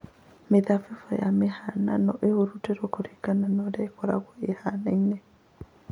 Mĩthabibũ ya mũhihano ĩthuurĩtwo kũringana na ũrĩa ĩkoragwo ĩhaana